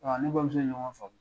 A ni ne bamuso ye ɲɔgɔn famu.